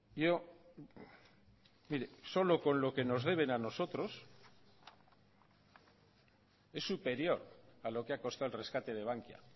yo mire solo con lo que nos deben a nosotros es superior a lo que ha costado el rescate de bankia